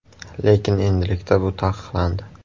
Lekin endilikda bu taqiqlandi.